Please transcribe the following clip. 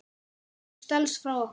Hann stelst frá okkur.